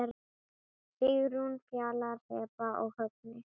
Sigrún, Fjalar, Heba og Högni.